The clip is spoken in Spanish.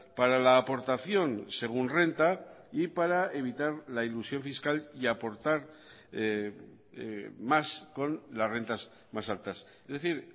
para la aportación según renta y para evitar la ilusión fiscal y aportar más con las rentas más altas es decir